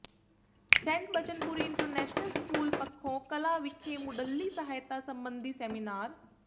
Saint Bachanpuri international school Pakhon Kalan ਵਿਖੇ ਮੁੱਢਲੀ ਸਹਾਇਤਾ ਸਬੰਧੀ ਸੈਮੀਨਾਰ